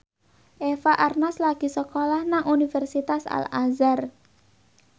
Eva Arnaz lagi sekolah nang Universitas Al Azhar